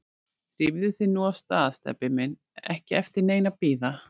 Drífðu þig nú af stað, Stebbi minn, ekki eftir neinu að bíða